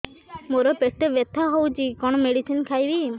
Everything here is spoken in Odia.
ମୋର ପେଟ ବ୍ୟଥା ହଉଚି କଣ ମେଡିସିନ ଖାଇବି